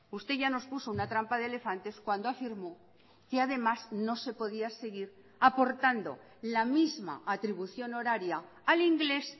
usted ya nos puso una trampa de elefantes cuando afirmó que además no se podía seguir aportando la misma atribución horaria al inglés